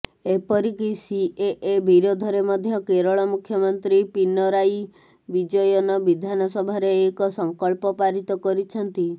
ଏପରି କି ସିଏଏ ବିରୋଧରେ ମଧ୍ୟ କେରଳ ମୁଖ୍ୟମନ୍ତ୍ରୀ ପିନରାୟୀ ବିଜୟନ ବିଧାନସଭାରେ ଏକ ସଂକଳ୍ପ ପାରିତ କରିଛନ୍ତି